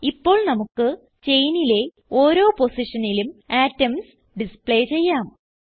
ഇപ്പോൾ നമുക്ക് ചെയിനിലെ ഓരോ പൊസിഷനിലും അറ്റോംസ് ഡിസ്പ്ലേ ചെയ്യാം